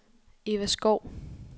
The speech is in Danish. Eva Schou